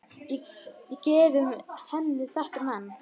Og gefðu henni þetta men.